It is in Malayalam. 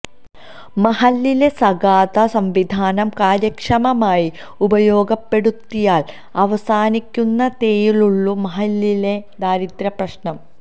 മഹല്ലിലെ സകാത്ത് സംവിധാനം കാര്യക്ഷമമായി ഉപയോഗപ്പെടുത്തിയാല് അവസാനിക്കുന്നതേയുള്ളൂ മഹല്ലിലെ ദാരിദ്ര്യ പ്രശ്നം